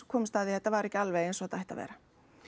komumst að því að þetta væri ekki alveg eins og það ætti að vera